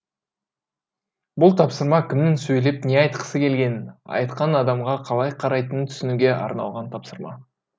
бұл тапсырма кімнің сөйлеп не айтқысы келгенін айтқан адамға қалай қарайтынын түсінуге арналған тапсырма